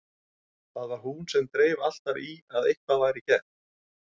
Það var hún sem dreif alltaf í að eitthvað væri gert.